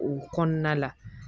O kɔnɔna la